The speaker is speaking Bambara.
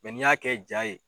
N'i y'a kɛ ja ye